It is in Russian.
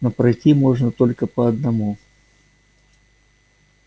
но пройти можно только по одному